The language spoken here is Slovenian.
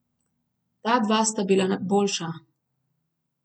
Ta dva sta bila boljša.